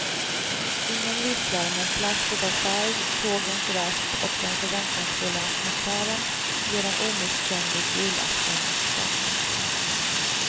Ingen visslar men plasket av färg, sågens rasp och den förväntansfulla atmosfären ger en omisskännlig julaftonsstämning.